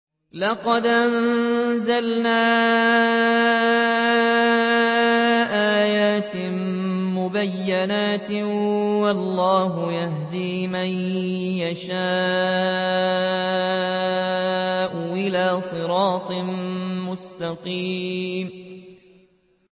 لَّقَدْ أَنزَلْنَا آيَاتٍ مُّبَيِّنَاتٍ ۚ وَاللَّهُ يَهْدِي مَن يَشَاءُ إِلَىٰ صِرَاطٍ مُّسْتَقِيمٍ